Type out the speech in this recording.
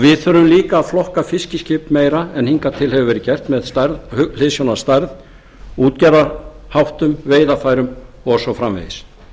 við þurfum líka að flokka fiskiskip meira en hingað til hefur verið gert með hliðsjón af stærð útgerðarháttum veiðarfærum og svo framvegis